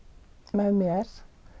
með mér